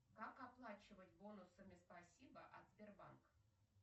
как оплачивать бонусами спасибо от сбербанка